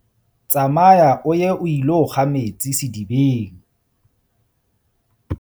Tsamaya o ye o ilo kga metsi sedibeng.